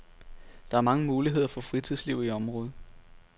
Der er mange muligheder for fritidsliv i området.